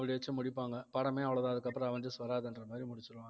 அப்படி வச்சு முடிப்பாங்க படமே அவ்வளவுதான் அதுக்கப்புறம் அவென்ஜர்ஸ் வராதுன்ற மாதிரி முடிச்சிடுவாங்க